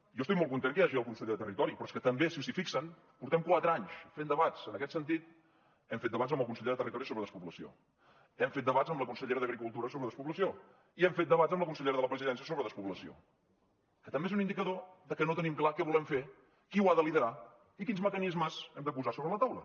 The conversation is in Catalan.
jo estic molt content que hi hagi el conseller de territori però és que també si s’hi fixen portem quatre anys fent debats en aquest sentit hem fet debats amb el conseller de territori sobre despoblació hem fet debats amb la consellera d’agricultura sobre despoblació i hem fet debats amb la consellera de la presidència sobre despoblació que també és un indicador de que no tenim clar què volem fer qui ho ha de liderar i quins mecanismes hem de posar sobre la taula